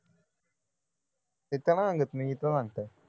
तिथं नाही सांगत मी इथं सांगतय